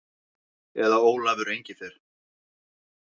Eða Ólafur Engifer.